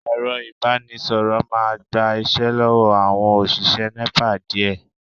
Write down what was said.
Ẹ̀rọ ìbánisọ̀rọ̀ máa gba iṣẹ́ lọ́wọ́ àwọn òṣìṣẹ́ Nepa díẹ̀